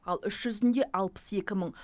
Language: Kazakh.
ал іс жүзінде алпыс екі мың